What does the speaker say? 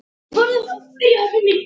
Og það á norsku.